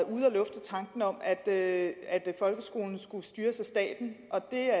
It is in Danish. ude at lufte tanken om at folkeskolen skulle styres af staten og det er